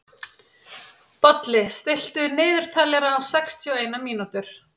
Bolli, stilltu niðurteljara á sextíu og eina mínútur.